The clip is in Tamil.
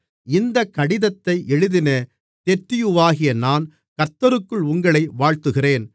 இந்தக் கடிதத்தை எழுதின தெர்தியுவாகிய நான் கர்த்தருக்குள் உங்களை வாழ்த்துகிறேன்